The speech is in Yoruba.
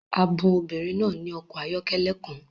A bun obìnrin náà ní ọkọ̀ ayọ́kẹ́lẹ́ kan